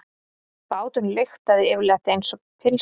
Báturinn lyktaði yfirleitt einsog pylsa.